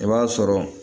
I b'a sɔrɔ